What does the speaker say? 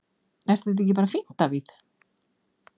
Er það ekki bara fínt Davíð?